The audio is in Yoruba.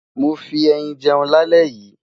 mó fí ẹyìn jẹun là lè yí